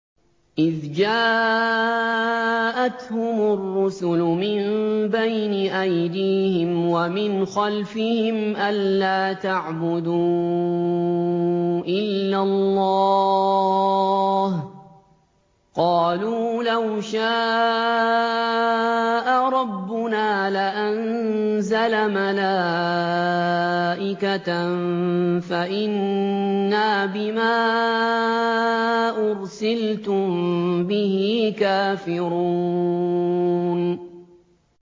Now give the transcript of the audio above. إِذْ جَاءَتْهُمُ الرُّسُلُ مِن بَيْنِ أَيْدِيهِمْ وَمِنْ خَلْفِهِمْ أَلَّا تَعْبُدُوا إِلَّا اللَّهَ ۖ قَالُوا لَوْ شَاءَ رَبُّنَا لَأَنزَلَ مَلَائِكَةً فَإِنَّا بِمَا أُرْسِلْتُم بِهِ كَافِرُونَ